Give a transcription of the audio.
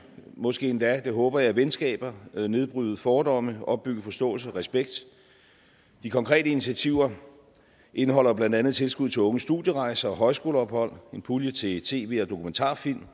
og måske endda det håber jeg venskaber nedbryde fordomme opbygge forståelse og respekt de konkrete initiativer indeholder blandt andet tilskud til unges studierejser og højskoleophold og en pulje til tv og dokumentarfilm